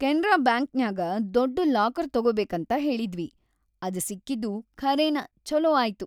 ಕೆನ್ರಾ ಬ್ಯಾಂಕ್‌ನ್ಯಾಗ ದೊಡ್ಡ್ ಲಾಕರ್‌ ತೊಗೊಬೇಕಂತ ಹೇಳಿದ್ವಿ, ಅದ್‌ ಸಿಕ್ಕಿದ್ದು ಖರೇನ ಛೊಲೋ ಆಯ್ತು.